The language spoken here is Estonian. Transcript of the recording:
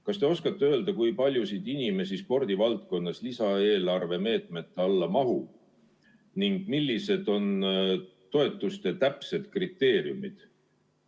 Kas te oskate öelda, kui palju spordivaldkonna inimesi lisaeelarve meetmete alla mahub ning millised on toetuste saamise täpsed kriteeriumid?